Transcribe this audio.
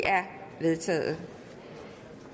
vedtaget